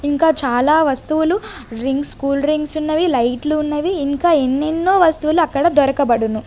ఇంకా చాలా వస్తువులు డ్రింక్స్ కూల్ డ్రింక్స్ ఉన్నవి లైట్లు ఉన్నవి ఇంకా ఎన్నెన్నో వస్తువులు అక్కడ దొరకబడును.